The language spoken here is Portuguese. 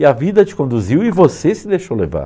E a vida te conduziu e você se deixou levar.